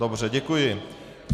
Dobře, děkuji.